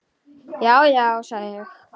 Já, já, sagði ég.